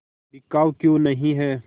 बिकाऊ क्यों नहीं है